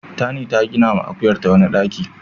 Tani ta ginawa akuyarta wani ɗaki.